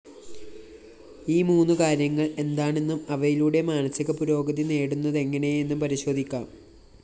ഈ മൂന്നുകാര്യങ്ങള്‍ എന്താണെന്നും അവയിലൂടെ മാനസികപുരോഗതി നേടുന്നതെങ്ങനെയെന്നും പരിശോധിക്കാം